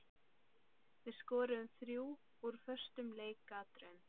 Við skoruðum þrjú úr föstum leikatriðum.